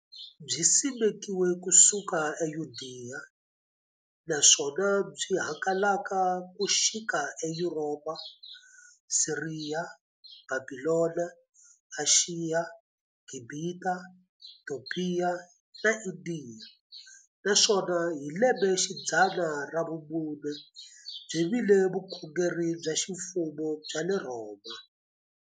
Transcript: Byisimekiwe ku suka eYudeya, naswona byi hangalake ku xika eYuropa, Siriya, Bhabhilona, Ashiya, Gibhita, Topiya na Indiya, naswona hi lembexidzana ra vumune byi vile vukhongeri bya ximfumo bya le Rhoma.